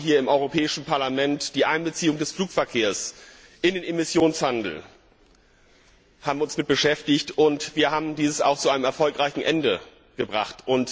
Wir haben uns hier im Europäischen Parlament mit der Einbeziehung des Flugverkehrs in den Emissionshandel beschäftigt, und wir haben dies auch zu einem erfolgreichen Ende gebracht.